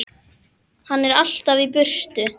Hann er alltaf í burtu.